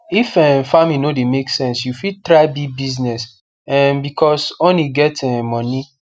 if um farming no de make sense you fit try bee business um becos honey get um moni